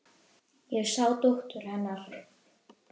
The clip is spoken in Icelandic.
Ég sá dóttur. hennar.